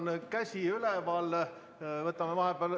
Seal on käsi üleval, võtame vahepeal ...